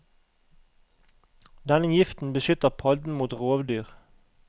Denne giften beskytter padden mot rovdyr.